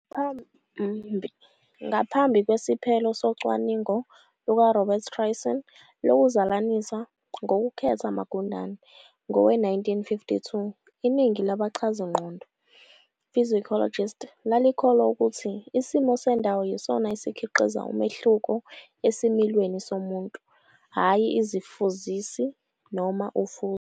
Ngaphambi kwesiphelo socwaningo luka Robert Tryon lokuzalanisa ngokukhetha amagundane, ngowe-1942, iningi labachazingqondo, psychologists," lalikholwa ukuthi isimo sendawo yisona esikhiqiza umehluko esimilweni somuntu, hhayi izifuzisi noma ufuzo.